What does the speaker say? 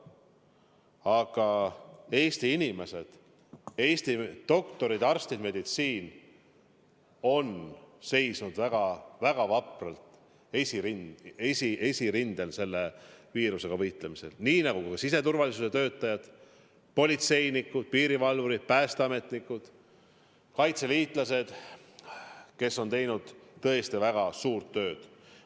Aga Eesti inimesed, Eesti doktorid, arstid, meditsiin on seisnud väga-väga vapralt esirindel selle viirusega võitlemisel, nii nagu ka siseturvalisuse töötajad, politseinikud, piirivalvurid, päästeametnikud, kaitseliitlased, kes on teinud tõesti väga suurt tööd.